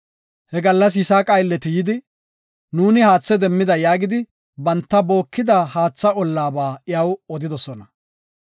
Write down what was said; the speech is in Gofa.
He gallas Yisaaqa aylleti yidi, “Nuuni haathe demmida” yaagidi banta bookida haatha ollaba iyaw odidosona.